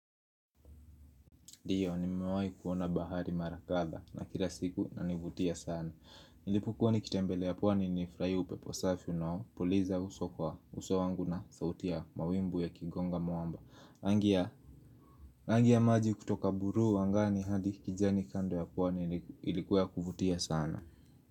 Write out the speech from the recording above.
Ndiyo, nimewahi kuona bahari marakdha na kila siku na univutia sana. Nilipo kuwa nikitembelea pwani nilfurahia upepo safi nao. Puliza uso kwa uso wangu na sauti ya mawimbi ya kigonga mwamba. Rangia maji kutoka buluu wangani hadi kijani kando ya pwani ilikuwa kuvutia sana.